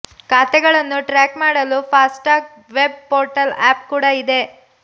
ಖಾತೆಗಳನ್ನು ಟ್ರ್ಯಾಕ್ ಮಾಡಲು FASTag web portal app ಕೂಡ ಇದೆ